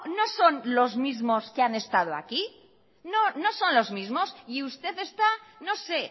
no son los mismos que han estado aquí no son los mismos y usted está no se